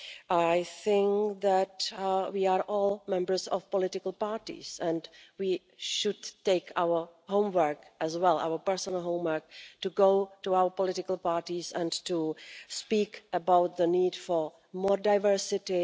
I think that we are all members of political parties and we should take it as our homework as well, our personal homework, to go to our political parties and to speak about the need for more diversity.